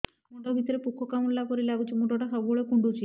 ମୁଣ୍ଡ ଭିତରେ ପୁକ କାମୁଡ଼ିଲା ପରି ଲାଗୁଛି ମୁଣ୍ଡ ଟା ସବୁବେଳେ କୁଣ୍ଡୁଚି